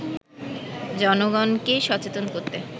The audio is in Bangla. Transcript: জনগণকে সচেতন করতে